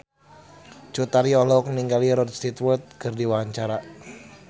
Cut Tari olohok ningali Rod Stewart keur diwawancara